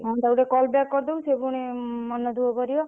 ହଁ ତାକୁ ଟିକେ call back କରିଦବୁ ସେ ପୁଣି ମନ ଦୁଖ କରିବ।